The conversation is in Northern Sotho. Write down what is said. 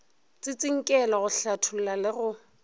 tsintsinkelo go hlatholla le go